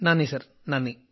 നന്ദി സർ നന്ദി